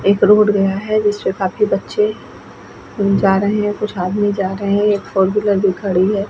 एक रोड गया है जिसपे काफी बच्चे जा रहे है कुछ आदमी जा रहे है एक फोर व्हीलर भी खड़ी है ।